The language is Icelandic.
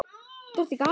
Drottin gaf.